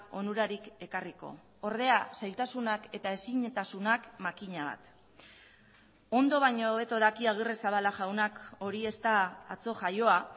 onurarik ekarriko ordea zailtasunak eta ezintasunak makina bat ondo baino hobeto daki agirrezabala jaunak hori ez da atzo jaioa